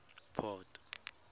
port